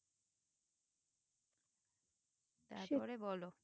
তারপরে বলো